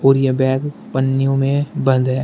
और यह बैग पनियों में बंद है।